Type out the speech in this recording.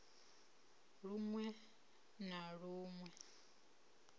lun we na lun we